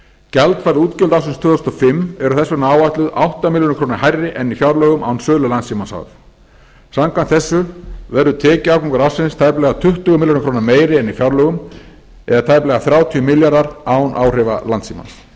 gjaldfærð útgjöld ársins tvö þúsund og fimm eru þess vegna áætluð átta milljónir króna hærri en í fjárlögum án sölu landssímans h f samkvæmt þessu verður tekjuafgangur ársins tæplega tuttugu milljónir króna meiri en í fjárlögum eða tæplega tuttugu milljónir króna meiri en í fjárlögum eða tæplega þrjátíu milljarðar án áhrifa landssímans